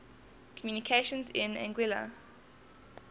communications in anguilla